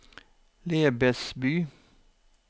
Lebesby